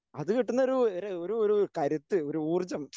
അതു കിട്ടുന്നൊരു ഏഹ് ഒരു ഒരു കരുത്ത് ഒരു ഊർജ്ജം